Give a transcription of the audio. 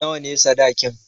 Nawa ne sadakin?